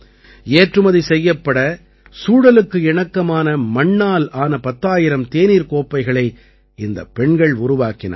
ஏற்றுமதி செய்யப்பட சூழலுக்கு இணக்கமான மண்ணால் ஆன பத்தாயிரம் தேநீர் கோப்பைகளை இந்தப் பெண்கள் உருவாக்கினார்கள்